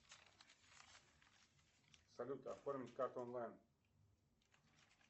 салют оформить карту онлайн